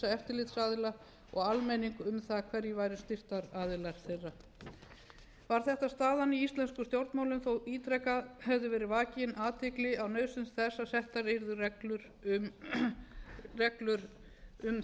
eftirlitsaðila og almenning um það hverjir væru styrktaraðilar þeirra var þetta staðan í íslenskum stjórnmálum þó ítrekað hefði verið vakin athygli á nauðsyn þess að settar yrðu